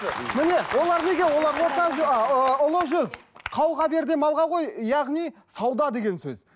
міне олар неге олар ыыы ұлы жүз қауға бер де малға қой яғни сауда деген сөз